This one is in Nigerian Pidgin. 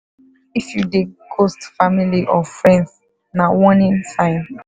if you dey ghost family or friends na warning sign.